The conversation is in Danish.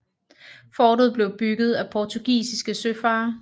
Fortet blev bygget af portugisiske søfarere